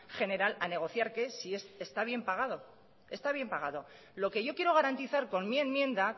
general a negociar que es si está bien pagado está bien pagado lo que yo quiero garantizar con mi enmienda